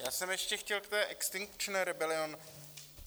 Já jsem ještě chtěl k té Extinction Rebellion.